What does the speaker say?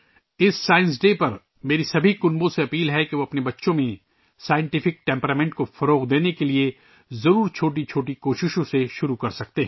اس science day پر، میں تمام خاندانوں سے گزارش کرتا ہوں کہ وہ اپنے بچوں میں سائنسی مزاج پیدا کرنے کے لئے چھوٹی چھوٹی کوششوں سے ضرور آغاز کریں